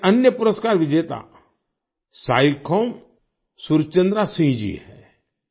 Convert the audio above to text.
एक अन्य पुरस्कार विजेता साइखौम सुरचंद्रा सिंह जी हैं